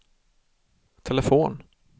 telefon